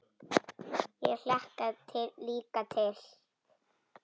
Ég hlakka líka til.